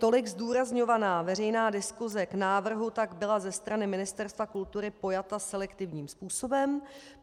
Tolik zdůrazňovaná veřejná diskuse k návrhu tak byla ze strany Ministerstva kultury pojata selektivním způsobem.